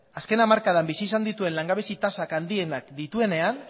azken hamarkadan bizi izan dituen langabezi tasa handienak dituenean